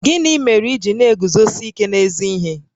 Gịnị mere i ji na-eguzosi ike n'ezi ihe?